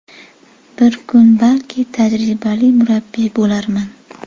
Bir kuni, balki, tajribali murabbiy bo‘larman.